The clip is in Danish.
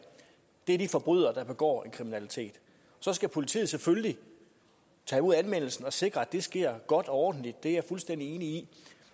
er de forbrydere der begår kriminelt så skal politiet selvfølgelig tage imod anmeldelsen og sikre at det sker godt og ordentligt det er jeg fuldstændig enig i